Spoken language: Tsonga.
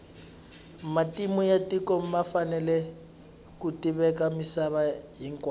matimu ya tiko ma fanele ku tiveka misava hinkwayo